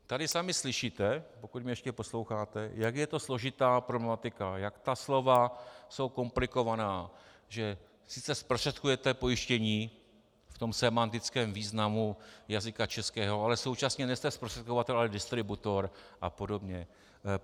Tady sami slyšíte, pokud mě ještě posloucháte, jak je to složitá problematika, jak ta slova jsou komplikovaná, že sice zprostředkujete pojištění v tom sémantickém významu jazyka českého, ale současně nejste zprostředkovatel, ale distributor a podobně.